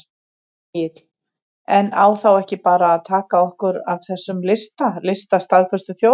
Egill: En á þá ekki bara að taka okkur af þessum lista, lista staðföstu þjóðanna?